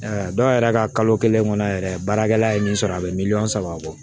dɔw yɛrɛ ka kalo kelen kɔnɔ yɛrɛ baarakɛla ye min sɔrɔ a bɛ miliyɔn saba bɔ